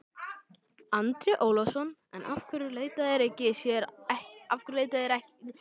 Andri Ólafsson: En af hverju leita þær sér ekki aðstoðar?